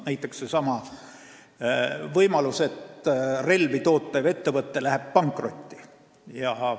Näiteks seesama võimalus, et relvi tootev ettevõte läheb pankrotti.